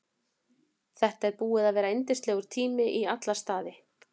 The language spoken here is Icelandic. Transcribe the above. Þetta er búið að vera yndislegur tími í alla staði.